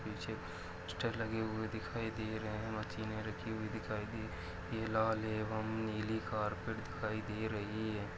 पीछे पोस्टर लगे हुए दिखाई दे रहे है मशिने रखी हुई दिखाई दे ये लाल एवम नीली कार्पेट दिखाई दे रही है।